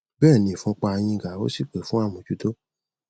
bẹẹni ìfúnpá a yín ga ó sì pè fún àmójútó